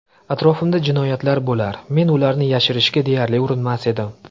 Atrofimda jinoyatlar bo‘lar, men ularni yashirishga deyarli urinmas edim.